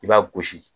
I b'a gosi